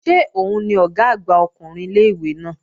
Ṣé òun ni Ọ̀gá àgbà ọkùnrin ilé-ìwé náà?